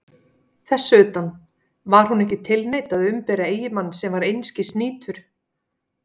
Þess utan: var hún ekki tilneydd að umbera eiginmann sem var einskis nýtur?